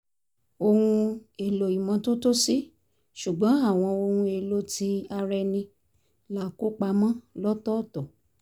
ohun èèlò ìmọ́tótó sí ṣùgbọ́n àwọn ohun èèlò ti ara ẹni la kó pamọ́ lọ́tọ̀ọ̀tọ̀